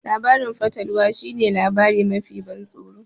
Labarin fatalwa shi ne labari mafi tsoratarwa